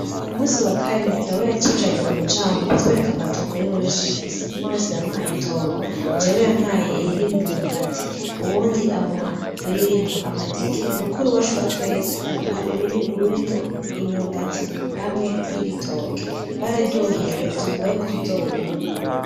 Ku musi wa kane dawe yatujanye ku mucamo kutwereka amatongo yiwe yose afise, umwe wese yamuhaye itongo, jewe yampaye iririmo imyumbati, uwundi amuha iririmwo amateke, mukuru wacu wa twese aduha uwurimwo imyumbati hamwe n'ibitoke, twararyohewe tuvuga yuko tuzowurima.